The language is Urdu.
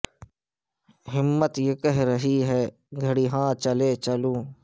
ہمت یہ کہہ رہی ہے گھڑی ہاں چلے چلوں